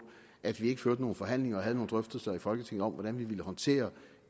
at vi ikke førte nogle forhandlinger og havde nogle drøftelser i folketinget om hvordan vi ville håndtere